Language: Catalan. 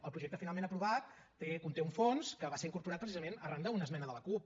el projecte finalment aprovat conté un fons que va ser incorporat precisament arran d’una esmena de la cup